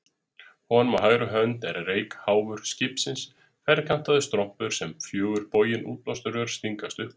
Honum á hægri hönd er reykháfur skipsins, ferkantaður strompur sem fjögur bogin útblástursrör stingast upp úr.